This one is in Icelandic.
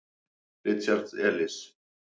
Richard Elis.